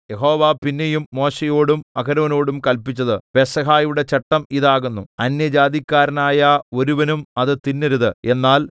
യഹോവ പിന്നെയും മോശെയോടും അഹരോനോടും കല്പിച്ചത് പെസഹയുടെ ചട്ടം ഇത് ആകുന്നു അന്യജാതിക്കാരനായ ഒരുവനും അത് തിന്നരുത്